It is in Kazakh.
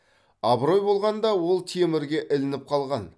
абырой болғанда ол темірге ілініп қалған